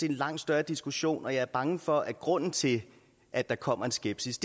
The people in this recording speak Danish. en langt større diskussion og jeg er bange for at grunden til at der kommer en skepsis